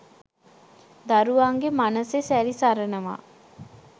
දරුවන්ගේ මනසෙ සැරි සරනවා